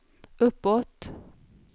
uppåt